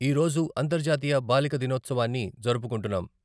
ఈరోజు అంతర్జాతీయ బాలిక దినోత్సవాన్ని జరుపుకుంటున్నాం.